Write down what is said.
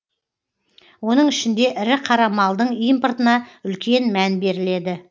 оның ішінде ірі қара малдың импортына үлкен мән беріледі